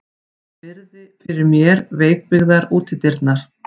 Virði fyrir mér veikbyggðar útidyrnar.